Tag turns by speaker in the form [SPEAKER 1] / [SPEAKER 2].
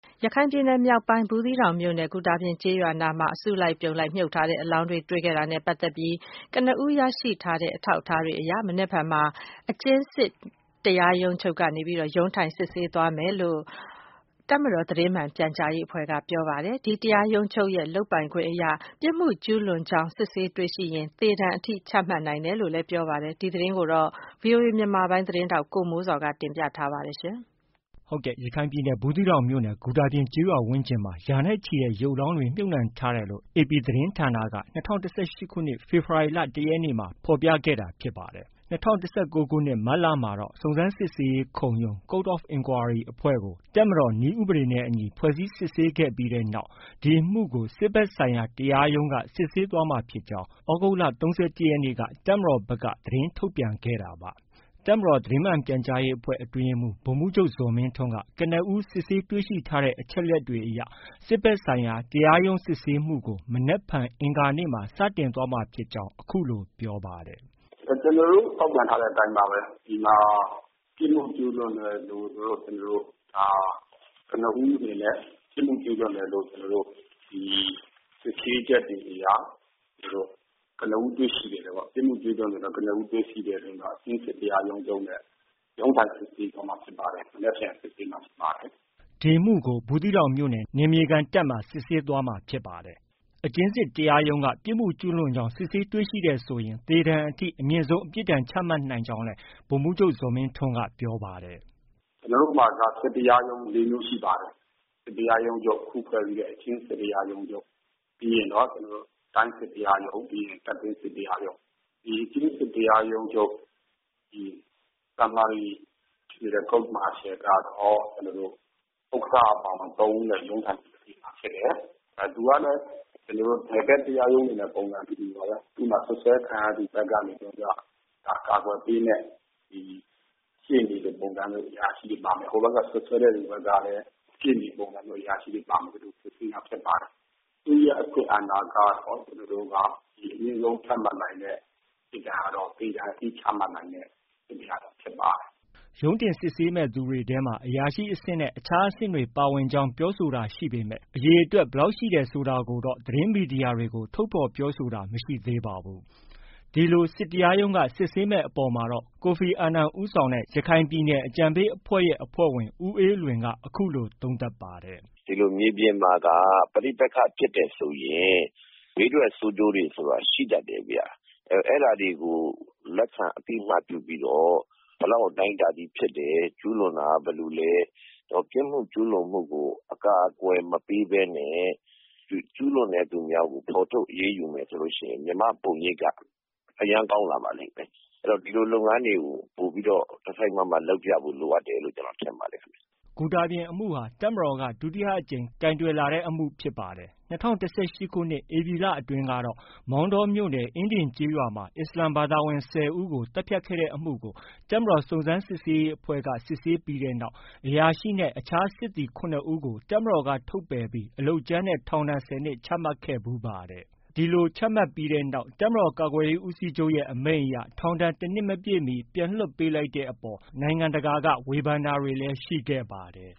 [SPEAKER 1] ရခိုင်ပြည်နယ်မြောက်ပိုင်း ဘူးသီးတောင်မြို့နယ် ဂူတာပြင်ကျေးရွာ အနီးမှာ အစုလိုက်အပြုံလိုက် မြှုပ်ထားတဲ့ ရုပ်အလောင်းတွေတွေ့ရှိတာနဲ့ပတ်သက်ပြီး ကနဦးရရှိတဲ့ အထောက်အထားတွေအရ မနက်ဖြန်မှာ အကျဉ်းစစ်တရားရုံးချုပ်က ရုံးထိုင်စစ်ဆေးသွားမယ်လို့ တပ်မတော် သတင်းမှန်ပြန်ကြားရေးအဖွဲ့က ပြောပါတယ်။ ဒီတရားရုံးချုပ်ရဲ့ လုပ်ပိုင်ခွင့်အရ ပြစ်မှုကျုးလွန်တယ်လို့ စစ်ဆေးတွေ့ရှိရင် သေဒဏ်အထိ ချမှတ်နိုင်ကြောင်း ပြောပါတယ်။ ဒီသတင်းနဲ့ပတ်သက်ပြီး ဗွီအိုအေမြန်မာပိုင်းရဲ့သတင်းထောက် ကိုမိုးဇော်က တင်ပြထားပါတယ်။
[SPEAKER 2] ရခိုင်ပြည်နယ် ဘူးသီးတောင်မြို့နယ် ဂူတာပြင်ကျေးရွာဝန်းကျင်မှာ ရာနဲ့ချီတဲ့ ရုပ်အလောင်းတွေ မြှုပ်ထားတယ်လို့ AP သတင်းဌာနက ၂၀၁၈ ဖေဖော်ဝါရီ ၁ ရက်နေ့မှာ ဖော်ပြခဲ့တာဖြစ်ပါတယ်။ ၂၀၁၉ ခုနှစ် မတ်လမှာတော့စုံစမ်းစစ်ဆေးရေးခုံရုံး (Court of Inquiry) အဖွဲ့ကို တပ်မတော်နည်းဥပဒေနဲ့အညီ ဖွဲ့စည်းစစ်ဆေးခဲ့ပြီးတဲ့နောက် ဒီအမှုကို စစ်ဘက်ဆိုင်ရာ တရားရုံးက စစ်ဆေးသွားမှာဖြစ်ကြောင်း့ သြဂုတ်လ ၃၁ ရက်နေ့က တပ်မတော်ဘက်က သတင်းထုတ်ပြန်ခဲ့တာပါ။ တပ်မတော်သတင်းမှန်ပြန်ကြားရေးအဖွဲ့ အတွင်းရေးမှုး ဗိုလ်မှုးချုပ် ဇော်မင်းထွန်းက ကနဦးစစ်ဆေးတွေ့ရှိထားတဲ့ အချက်အလက်တွေအရစစ်ဘက်ဆိုင်ရာ တရားရုံးစစ်ဆေးမှုကို မနက်ဖြန် အင်္ဂါနေ့မှာ စတင်သွားမှာဖြစ်ကြောင်း အခုလို ပြောပါတယ်။
[SPEAKER 3] “ ကျနော်တို့ ထုတ်ပြန်ထားတဲ့ အတိုင်းပါပဲ။ ဒီမှာ ပြစ်မှုကျူးလွန်တယ်လို့ ကျနော်တို့ ကနဦးအနေနဲ့ ပြစ်မှုကျူးလွန်တယ်လို့ ဒီ စစ်ဆေးချက်တွေအရ ကနဦးတွေ့ရှိခဲ့တယ်ပေါ့။ ပြစ်မှုကျုးလွန်တယ်လို့ ကနဦးတွေ့ရှိခဲ့တဲ့အတွက်ကြောင့် ကျနော်တို့ အကျဉ်းစစ်တရားရုံးချုပ်နဲ့ ရုံးထိုင် စစ်ဆေးသွားမှာဖြစ်ပါတယ်။ မနက်ဖန်စစ်ဆေးမှာဖြစ်ပါတယ်။
[SPEAKER 2] ” ဒီအမှုကို ဘူးသီးတောင်မြို့နယ် နယ်မြေခံတပ်မှာ စစ်ဆေးသွားမှာဖြစ်ပါတယ်။ အကျဉ်းစစ်တရားရုံးချုပ်က ပြစ်မှုကျူးလွန်ကြောင်း စစ်ဆေးတွေ့ရှိတယ်ဆိုရင် သေဒဏ်အထိ အမြင့်ဆုံးအပြစ်ဒဏ် ချမှတ်နိုင်ကြောင်းလည်း ဗိုလ်မှုးချုပ် ဇော်မင်းထွန်းက ပြောပါတယ်။ “
[SPEAKER 3] ကျနော်တို့မှာက စစ်တရားရုံး ၄မျိုးရှိပါတယ်။ စစ်တရားရုံးချုပ်၊ အခုဖွဲ့စည်းတဲ့ အကျဉ်းစစ်တရားရုံးချုပ်။ ပြီးရင်တော့ တိုင်းစစ်တရားရုံး၊ ပြီးရင် တပ်တွင်းစစ်တရားရုံး။ ဒီအကျဉ်းစစ်တရားရုံး Summary General Court Martial ကတော့ ဥက္ကဌအပါအဝင် ၃ဦးနဲ့ ရုံးထိုင်စစ်ဆေးမှာဖြစ်တယ်။ သူကလည်း နယ်ဘက် တရားရုံးတွေနဲ့ ပုံစံအတူတူပါပဲ။ သူ့မှာ စွပ်စွဲခံရသူဘက်ကနေပြီးတော့မှ ကာကွယ်ပေးမယ့် ရှေ့နေလိုပုံစံမျိုး အရာရှိတွေပါမယ်။ ဟိုဘက်က စွပ်စွဲတဲ့သူဘက်ကလည်း ရှေ့နေလို ပုံစံမျိုး အရာရှိ တွေပါမယ်။ ဒီလို စစ်ဆေးတာဖြစ်ပါတယ်။ သူ့ရဲ့ အခွင့်အာဏာကတော့ ကျနော်တို့က အမြင့်ဆုံး ချမှတ်နိုင်တဲ့ အပြစ်ဒဏ်ကတော့ သေဒဏ်အထိ ချမှတ်နိုင်တဲ့ စစ်တရားရုံးဖ
[SPEAKER 2] ြစ်ပါတယ်။” ရုံးတင်စစ်ဆေးမယ့် သူတွေထဲမှာ အရာရှိ အဆင့်နဲ့ အခြားအဆင့်တွေ ပါဝင်ကြောင်း ပြောဆိုတာရှိပေမဲ့ အရေအတွက် ဘယ်လောက်ရှိတယ်ဆိုတာကိုတော့ သတင်းမီဒီယာတွေကို ထုတ်ဖော်ပြောဆိုထားတာမရှိသေးပါဘူး။ ဒီလို စစ်တရားရုံးက စစ်ဆေးမယ့် အပေါ်မှာတော့ ကိုဖီအာနန်ဦးဆောင်ခဲ့တဲ့ ရခိုင်ပြည်နယ် အကြံပေးအဖွဲ့ရဲ့ အဖွဲ့ဝင် ဦးအေးလွင်က အခုလို သုံးသပ်ပါတယ်။
[SPEAKER 4] “ ဒီလို မြေပြင်မှာက ပဋိပက္ခဖြစ်တယ်ဆိုရင် ဘေးထွက် ဆိုးကျိုးတွေ ဆိုတာ ရှိတတ်တယ်ဗျ။ အဲဒါတွေကို လက်ခံ အသိအမှတ်ပြုပြီးတော့ ဘယ်လောက် အတိုင်းအတာထိဖြစ်တယ်။ ကျူးလွန်တာက ဘယ်လိုလဲ။ ပြစ်မှုကျုးလွန်မှုကို အကာအကွယ်မပေးဘဲနဲ့ ကျူးလွန်တဲ့သူများကို ဖော်ထုတ် အရေးယူမယ်ဆိုရင် မြန်မာ့ ပုံရိပ်က အရမ်းကောင်းလာပါလိမ့်မယ်။ အဲတော့ ဒီလို လုပ်ငန်းတွေကို ပိုပြီးတော့ တစိုက်မတ်မတ်လုပ်ပြဖို့ လိုအပ်တယ်လို့ ကျနော်ထင်ပါတယ်။
[SPEAKER 2] ” ဂူတာပြင် အမှုဟာ တပ်မတော်က ဒုတိယအကြိမ် ကိုင်တွယ်လာတဲ့ အမှုဖြစ်ပါတယ်။ ၂၀၁၈ခုနှစ် ဧပြီလအတွင်းကတော့ မောင်တောမြို့နယ် အင်းဒင်ကျေးရွာမှာ အစ္စလာမ်ဘာသာဝင် ၁၀ကို သတ်ဖြတ်ခဲ့တဲ့အမှုကို တပ်မတော်စုံစမ်းစစ်ဆေးရေးအဖွဲ့က စစ်ဆေးခဲ့တဲ့နောက် အရာရှိနဲ့ အခြားအဆင့် စစ်သည် ၇ဦးကို တပ်မတော်က ထုတ်ပယ်ပြီး အလုပ်ကြမ်းနဲ့ ထောင်ဒဏ် ၁၀နှစ် ချမှတ်ခဲ့ဖူးပါတယ်။ ဒီလိုချမှတ်ပြီးတဲ့နောက် တပ်မတော်ကာကွယ်ရေးဦးစီးချုပ်ရဲ့ အမိန့်အရ ထောင်ဒဏ် တစ်နှစ်မပြည့်မီ ပြန်လည်လွှွတ်ပေးလိုက်တဲ့အပေါ် နိုင်ငံတကာက ဝေဖန်တာတွေ ရှိခဲ့ပါတယ်